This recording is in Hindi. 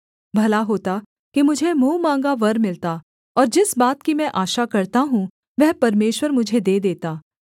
भला होता कि मुझे मुँह माँगा वर मिलता और जिस बात की मैं आशा करता हूँ वह परमेश्वर मुझे दे देता